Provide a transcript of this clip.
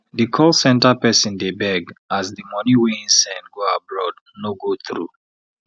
di call centre person dey beg as di money wey him send go abroad no go through